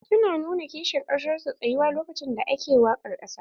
Su na nuna kishin ƙasar su ta tsayuwa lokacin da ake waƙar ƙasa.